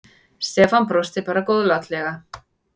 Stefán brosti bara góðlátlega.